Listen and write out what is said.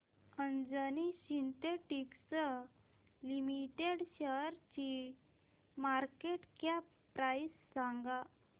Anjani synthetics limited शेअरची market cap price सांगा